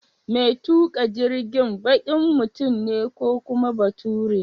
Mai tuƙa jirgin baƙin mutum ne ko kuma bature?